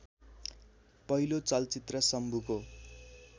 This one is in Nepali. पहिलो चलचित्र शम्भुको